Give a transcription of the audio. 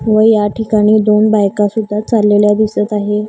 व या ठिकाणी दोन बायका सुद्धा चाललेल्या दिसत आहे.